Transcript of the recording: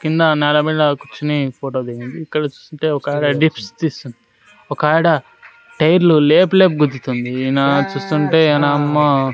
కింద నేల మీద కూర్చొని ఫోటో దిగింది ఇక్కడ చూస్తుంటే ఒకాడ డిప్స్ తీస్తుంది ఒకావిడ టైర్ లు లేపి లేపి గుద్దుతుంది. ఇన చూస్తుంటే ఈనమ్మ --